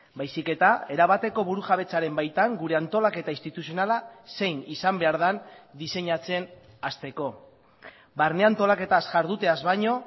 baizik eta erabateko burujabetzaren baitan gure antolaketa instituzionala zein izan behar den diseinatzen hasteko barne antolaketaz jarduteaz baino